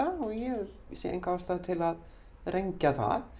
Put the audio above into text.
og ég sé enga ástæðu til að rengja það